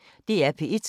DR P1